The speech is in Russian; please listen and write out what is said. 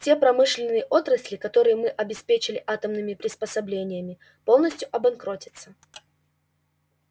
те промышленные отрасли которые мы обеспечили атомными приспособлениями полностью обанкротятся